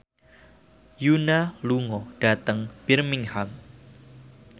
Yoona lunga dhateng Birmingham